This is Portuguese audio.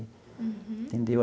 Uhum. Entendeu?